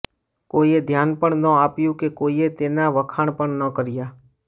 કોઈએ ધ્યાન પણ ન આપ્યું કે કોઈએ તેના વખાણ પણ ન કર્યા